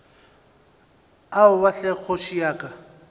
aowa hle kgoši ya ka